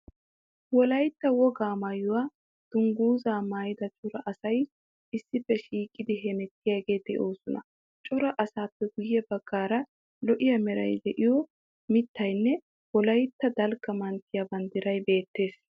Wolayitta wogaa maayuwa dungguzaa maayida cora asay issippe shiiqidi hemettiyageeti de'oosona. Cora asaappe guye baggaara lo'iya meray de'iyo mittaynne wolaytta dalgga manttiya banddiray beettees.